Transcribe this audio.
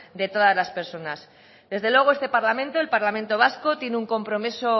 de todas las personas desde luego este parlamento el parlamento vasco tiene un compromiso